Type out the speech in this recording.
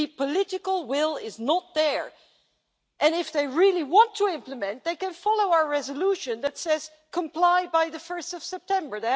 The political will is not there. If they really do want to implement, then they can follow our resolution that says Comply by 1 September'.